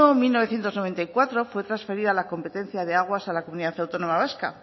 mil novecientos noventa y cuatro fue transferida la competencia de aguas a la comunidad autónoma vasca